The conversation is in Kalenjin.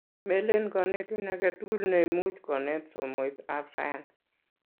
melen konetin aketukul neimuch kunet somoitab sayance